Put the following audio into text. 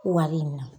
Wari in na